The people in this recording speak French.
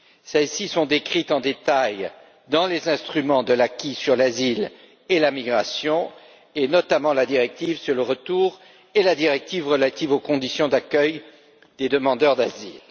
Celles ci sont décrites en détail dans les instruments de l'acquis sur l'asile et la migration, et notamment la directive sur le retour et la directive relative aux conditions d'accueil des demandeurs d'asile.